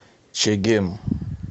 чегем